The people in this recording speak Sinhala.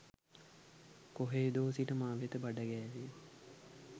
කොහේදෝ සිට මවෙත බඩ ගෑවේය